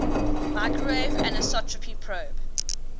microwave anisotropy probe